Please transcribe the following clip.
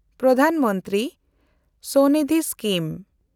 ᱯᱨᱚᱫᱷᱟᱱ ᱢᱚᱱᱛᱨᱤ ᱥᱚᱱᱤᱫᱷᱤ ᱥᱠᱤᱢ